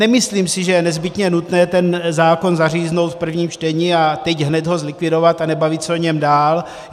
Nemyslím si, že je nezbytně nutné ten zákon zaříznout v prvním čtení a teď hned ho zlikvidovat a nebavit se o něm dál.